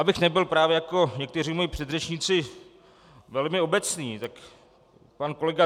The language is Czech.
Abych nebyl právě jako někteří moji předřečníci velmi obecný, tak pan kolega